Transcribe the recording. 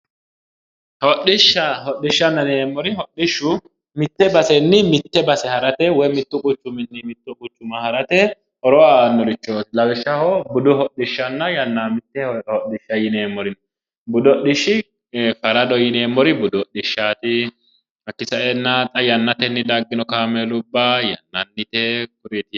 Hodhishsha hodhishanna yineemmori mitte base haarate budu hodhishsuwa no budu hodhisha yineemmori farado yannate hodhishsha yineemmori kuri kaamella labbinnori kuri xa yannate dagginoreeti